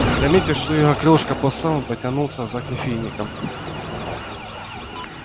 заметив что его кружка пуста он потянулся за кофейником